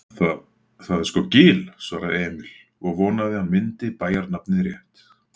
Það, það er sko Gil svaraði Emil og vonaði að hann myndi bæjarnafnið rétt.